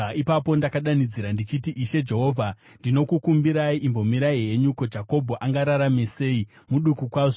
Ipapo ndakadanidzira ndichiti, “Ishe Jehovha, ndinokukumbirai, imbomirai henyu. Ko, Jakobho angararame sei? Muduku kwazvo!”